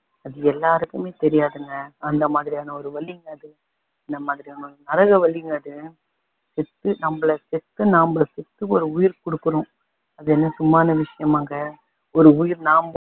அது எல்லாருக்குமே தெரியாதுங்க அந்த மாதிரியான ஒரு வலிங்க அது நம்ம நரக வலிங்க அது பெத்து நம்மல பெத்து நம்மல பெத்து ஒரு உயிர் கொடுக்குறோம் அது என்ன சும்மான விஷயமாங்க ஒரு உயிர் நாம